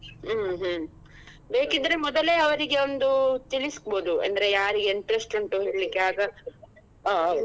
ಹ್ಮ್ ಹ್ಮ್ ಬೇಕಿದ್ರೆ ಮೊದಲೇ ಅವ್ರಿಗೆ ಒಂದು ತಿಳಿಸ್ಬಹುದು ಅಂದ್ರೆ ಯಾರಿಗೆ interest ಉಂಟು ಹೇಳಲಿಕ್ಕೆ ಆಗ .